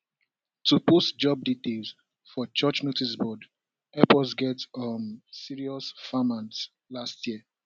to post job details for church noticeboard help us get um serious farmhands last year